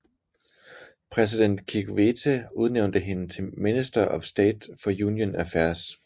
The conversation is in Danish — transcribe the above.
Præsident Kikwete udnævnte hende til Minister of State for Union Affairs